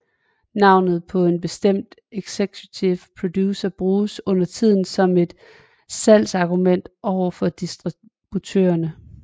Navnet på en bestemt executive producer bruges undertiden som et salgsargument over for distributørerne